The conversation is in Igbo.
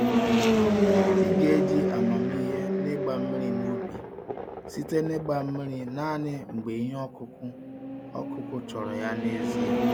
Ị geji amamihe n'ịgba mmiri n'ubi, site na ịgba mmiri naanị mgbe ihe ọkụkụ ọkụkụ chọrọ ya n'ezie.